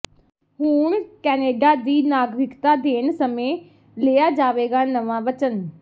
ਹੁਣ ਕੈਨੇਡਾ ਦੀ ਨਾਗਰਿਕਤਾ ਦੇਣ ਸਮੇਂ ਲਿਆ ਜਾਵੇਗਾ ਨਵਾਂ ਵਚਨ